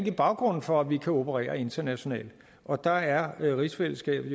er baggrunden for at vi kan operere internationalt og der er rigsfællesskabet